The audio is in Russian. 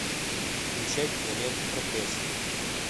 включай киноленту проклятие